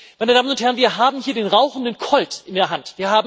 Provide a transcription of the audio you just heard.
Meine Damen und Herren, wir haben hier den rauchenden Colt in der Hand.